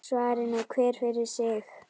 Svari nú hver fyrir sig!